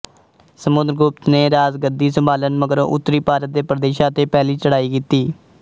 ਸਮੁਦਰਗੁਪਤ ਨੇ ਰਾਜਗੱਦੀ ਸੰਭਾਲਣ ਮਗਰੋਂ ਉੱਤਰੀ ਭਾਰਤ ਦੇ ਪ੍ਰਦੇਸ਼ਾਂ ਤੇ ਪਹਿਲੀ ਚੜ੍ਹਾਈ ਕੀਤੀ